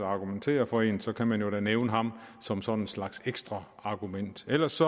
argumenterer for en så kan man jo da nævne ham som sådan en slags ekstra argument ellers